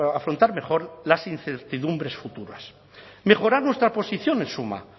afrontar mejor las incertidumbres futuras mejorar nuestra posición en suma